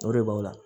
O de b'a la